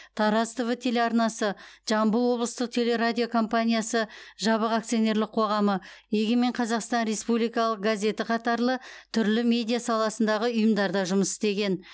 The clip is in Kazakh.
тараз тв телеарнасы жамбыл облыстық телерадио компаниясы жабық акционерлік қоғамы егемен қазақстан республикалық газеті қатарлы түрлі медиа саласындағы ұйымдарда жұмыс істеген